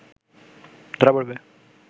ধরা পড়বে